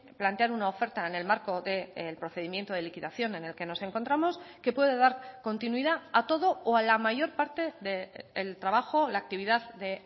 plantear una oferta en el marco del procedimiento de liquidación en el que nos encontramos que puede dar continuidad a todo o a la mayor parte del trabajo o la actividad de